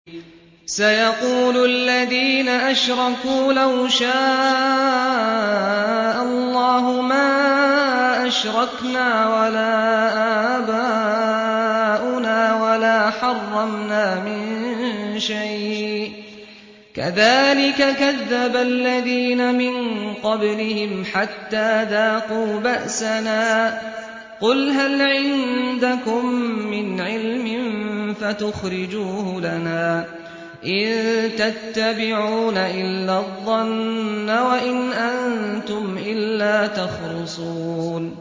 سَيَقُولُ الَّذِينَ أَشْرَكُوا لَوْ شَاءَ اللَّهُ مَا أَشْرَكْنَا وَلَا آبَاؤُنَا وَلَا حَرَّمْنَا مِن شَيْءٍ ۚ كَذَٰلِكَ كَذَّبَ الَّذِينَ مِن قَبْلِهِمْ حَتَّىٰ ذَاقُوا بَأْسَنَا ۗ قُلْ هَلْ عِندَكُم مِّنْ عِلْمٍ فَتُخْرِجُوهُ لَنَا ۖ إِن تَتَّبِعُونَ إِلَّا الظَّنَّ وَإِنْ أَنتُمْ إِلَّا تَخْرُصُونَ